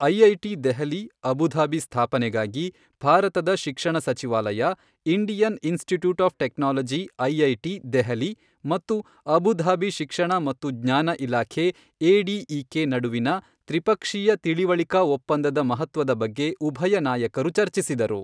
IIT Delhi Abu Dhabi ಸ್ಥಾಪನೆಗಾಗಿ ಭಾರತದ ಶಿಕ್ಷಣ ಸಚಿವಾಲಯ, Indian Institute of Technology IIT Delhi ಮತ್ತು ಅಬುಧಾಬಿ ಶಿಕ್ಷಣ ಮತ್ತು ಜ್ಞಾನ ಇಲಾಖೆ ಎಡಿಇಕೆ ನಡುವಿನ ತ್ರಿಪಕ್ಷೀಯ ತಿಳಿವಳಿಕಾ ಒಪ್ಪಂದದ ಮಹತ್ವದ ಬಗ್ಗೆ ಉಭಯ ನಾಯಕರು ಚರ್ಚಿಸಿದರು.